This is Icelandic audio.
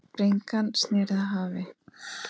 Bringan sneri að hafi.